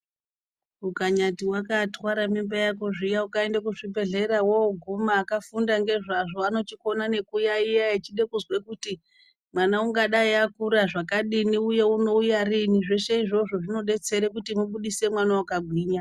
Ukanyati wakatware mimba yako zviya ukaenda kuzvibhedhlera woguma akafunda ngezvazvo anochikona ngekuyayiya echida kuzwe kuti mwana ungadai akura zvakadini uye unouya riini zvose izvozvo zvinodetsere kuti ubuditse mwana wakagwinya .